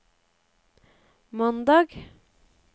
mandag